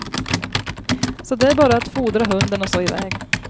Så det är bara att fodra hunden och så iväg.